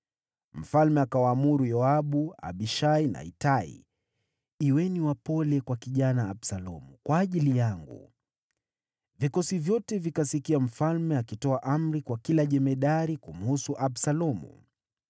Mfalme akawaamuru Yoabu, Abishai na Itai, “Kuweni wapole kwa kijana Absalomu kwa ajili yangu.” Vikosi vyote vikasikia mfalme akitoa amri kwa kila jemadari kumhusu Absalomu.